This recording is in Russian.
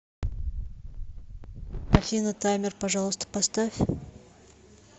афина таймер пожалуйста поставь